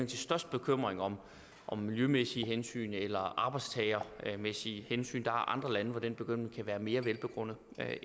til størst bekymring om om miljømæssige hensyn eller arbejdstagermæssige hensyn der er andre lande hvor den bekymring kan være mere velbegrundet